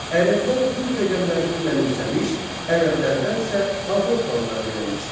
Ərəblər Hind rəqəmlərini mənimsəmiş, ərəblərdən isə avropalılar öyrənmişdilər.